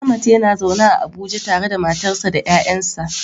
Ahmad yana zaune a Abuja tare da matarsa ​​da ƴaƴansa.